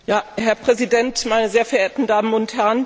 Herr Präsident, meine sehr verehrten Damen und Herren!